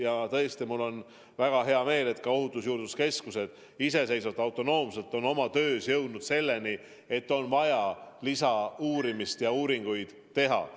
Ja tõesti, mul on väga hea meel, et ka Ohutusjuurdluse Keskus on iseseisvalt, autonoomselt oma töös jõudnud seisukohani, et on vaja lisauurimist, lisauuringuid teha.